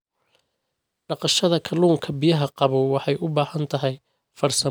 Dhaqashada kalluunka biyaha qabow waxay u baahan tahay farsamooyin gaar ah.